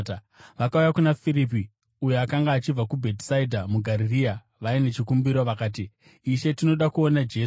Vakauya kuna Firipi, uyo akanga achibva kuBhetisaidha muGarirea, vaine chikumbiro. Vakati, “Ishe, tinoda kuona Jesu.”